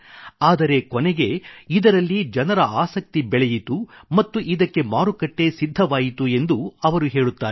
ಆದರೆ ಕೊನೆಗೆ ಇದರಲ್ಲಿ ಜನರ ಆಸಕ್ತಿ ಬೆಳೆಯಿತು ಮತ್ತು ಇದಕ್ಕೆ ಮಾರುಕಟ್ಟೆ ಸಿದ್ಧವಾಯಿತು ಎಂದು ಅವರು ಹೇಳುತ್ತಾರೆ